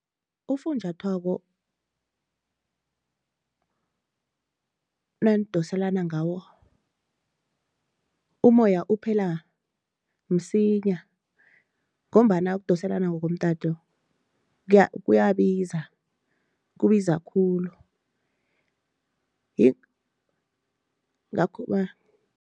Ufunjathwako nandoselana ngawo, umoya uphela msinya ngombana ukudoselana ngokomtato kuyabiza kubiza khulu yingakho